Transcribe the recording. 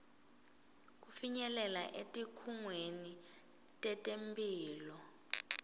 kufinyelela etikhungweni tetemphilo